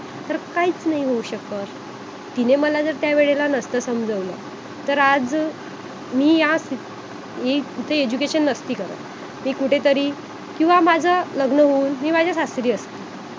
तर काहीच नाही होऊ शकत तिने मला जर त्या वेळेला नसत समजावलं तर आज मी या स मी कुठे education नसती करत मी कुठे तरी किंवा माझं लग्न होऊन मी माझ्या सासरी असते